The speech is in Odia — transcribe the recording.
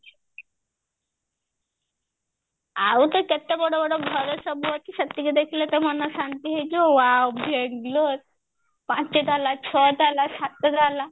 ଆଉତ କେତେ ବଡ ବଡ ଘର ସବୁ ଅଛି ସେତିକି ଦେଖିଲେ ତ ମନ ଶାନ୍ତି ହେଇଯିବ ଆଉ ବେଙ୍ଗେଲୋର ପାଞ୍ଚ ତାଲା ଛଅ ତାଲା ସାତ ତାଲା